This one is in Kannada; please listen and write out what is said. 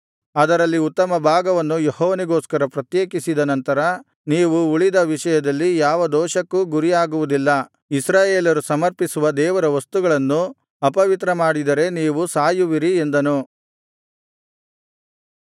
ಅದರಲ್ಲಿ ಉತ್ತಮ ಭಾಗವನ್ನು ಯೆಹೋವನಿಗೋಸ್ಕರ ಪ್ರತ್ಯೇಕಿಸಿದ ನಂತರ ನೀವು ಉಳಿದ ವಿಷಯದಲ್ಲಿ ಯಾವ ದೋಷಕ್ಕೂ ಗುರಿಯಾಗುವುದಿಲ್ಲ ಇಸ್ರಾಯೇಲರು ಸಮರ್ಪಿಸುವ ದೇವರ ವಸ್ತುಗಳನ್ನು ಅಪವಿತ್ರಮಾಡಿದರೆ ನೀವು ಸಾಯುವಿರಿ ಎಂದನು